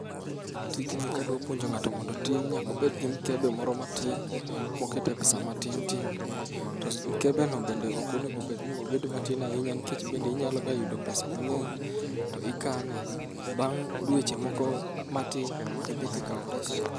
Tijni kadwa puonjo ng'ato mondo otim nyaka obed gi mkebe moro matin mokete pesa matin tin to mkebe no bende ok onego obed matin ahinya nikech bende inyaloga yudo pesa mang'eny to ikane. Bang' dweche moko matin to idhi to ikawo pesano.